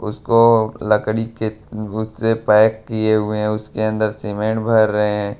उसको लकड़ी के उससे पैक किए हुए हैं उसके अंदर सीमेंट भर रहे हैं।